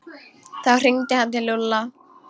Þá hringdi hann til Lúlla.